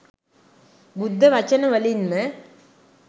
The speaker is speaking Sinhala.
බුද්ධ වචන වලින් ම